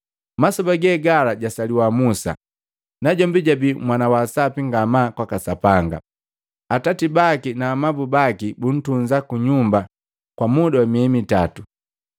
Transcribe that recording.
Masoba gegala jasaliwa Musa, najombi jabii mwana waa sapi ngamaa kwaka Sapanga. Atati baki na amabu baki buntunza ku nyumba kwa muda wa miei mitatu.